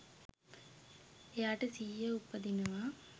එයාට සිහිය උපදිනවා.